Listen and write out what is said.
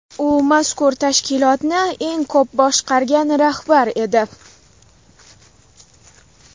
U mazkur tashkilotni eng ko‘p boshqargan rahbar edi.